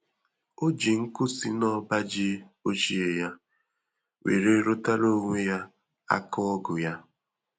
O ji nkụ si na ọba ji ochie ya were rụtara onwe ya aka ọgụ ya